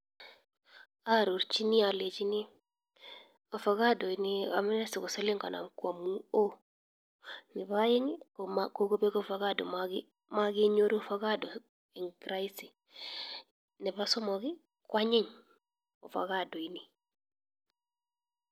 Arorchini alechini avocado ni amune si ko siling kanom. Neba aeng', magenyoru avocado eng rahisi. Neba somok, ko anyiny avocado ni.